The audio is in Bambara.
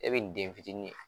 E be nin den fitini ye